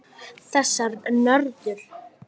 Þessar nöðrur!